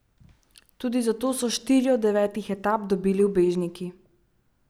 Tudi zato so štiri od devetih etap dobili ubežniki.